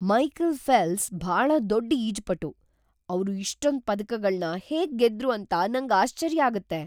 Michael Phelps ಭಾಳ ದೊಡ್ಡ್ ಈಜುಪಟು. ಅವ್ರು ಇಷ್ಟೊಂದ್ ಪದಕಗಳ್ನ ಹೇಗ್ ಗೆದ್ರು ಅಂತ ನಂಗಾಶ್ಚರ್ಯ ಆಗತ್ತೆ!